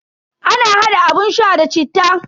Ana hada abun sha da citta.